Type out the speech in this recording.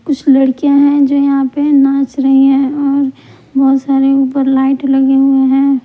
कुछ लड़कियां है जो यहाँ पे नाच रही हैं और बहुत सारे ऊपर लाइट लगे हुए हैं।